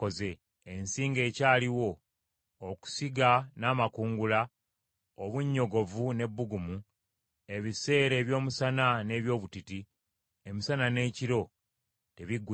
“Ensi ng’ekyaliwo, okusiga n’amakungula, obunnyogovu n’ebbugumu, ebiseera eby’omusana n’eby’obutiti, emisana n’ekiro, tebiggwengawo.”